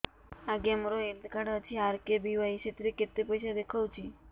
ଆଜ୍ଞା ମୋର health card ଅଛି ଆର୍.କେ.ବି.ୱାଇ ସେଥିରେ କେତେ ପଇସା ଦେଖଉଛି